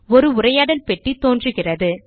ஒரு உரையாடல் பெட் டி தோன்றுகிறது